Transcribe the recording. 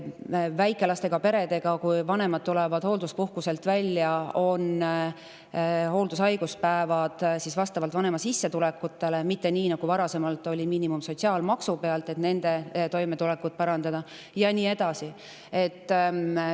Et väikelastega perede toimetulekut parandada, on vanematele, kes naasevad hoolduspuhkuselt, mõeldud hooldus- ja haigus, mis vastab vanema sissetulekutele, mitte nii, nagu varasemalt oli, kui miinimum pealt, ja nii edasi.